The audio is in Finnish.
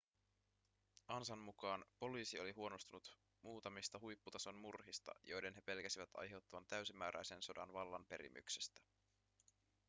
ansan mukaan poliisi oli huolestunut muutamista huipputason murhista joiden he pelkäsivät aiheuttavan täysimääräisen sodan vallanperimyksestä